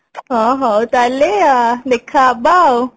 ହଁ ହଉ ତାହେଲେ ଆ ଦେଖା ହବା ଆଉ